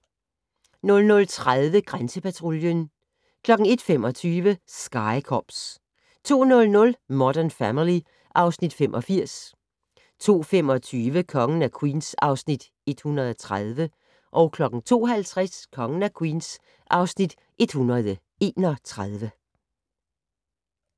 00:30: Grænsepatruljen 01:25: Sky Cops 02:00: Modern Family (Afs. 85) 02:25: Kongen af Queens (Afs. 130) 02:50: Kongen af Queens (Afs. 131)